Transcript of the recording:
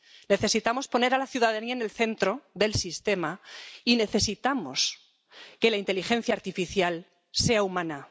Necesitamos poner a la ciudadanía en el centro del sistema y necesitamos que la inteligencia artificial sea humana.